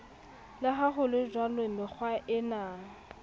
le ha ho lejwalo mekgwaena